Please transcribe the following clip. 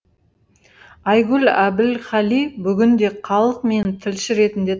айгүл әбілқали бүгінде халық мені тілші ретінде